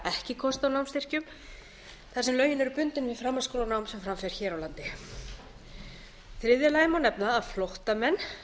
ekki kost á námsstyrkjum þar sem lögin eru bundin við framhaldsskólanám sem fram fer hér á landi í þriðja lagi má nefna að flóttamenn